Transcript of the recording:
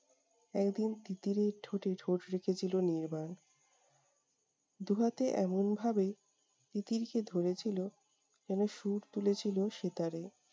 একদিন তিতিরের ঠোঁটে ঠোঁট রেখেছিলো নির্বাণ। দু'হাতে এমনভাবে তিতিরকে ধরেছিলো যেন সুর তুলেছিল সেতারে।